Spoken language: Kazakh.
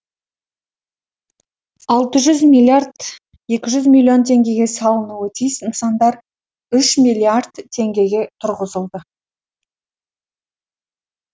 алты жүз миллиард екі жүз миллион теңгеге салынуы тиіс нысандар үш миллиард теңгеге тұрғызылды